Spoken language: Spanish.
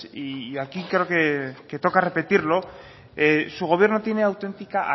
y aquí creo que toca repetirlo su gobierno tiene auténtica